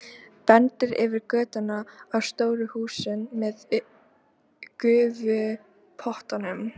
Bendir yfir götuna á stóru húsin með gufupottunum.